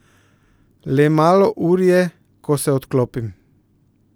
Le malo ur je, ko se odklopim.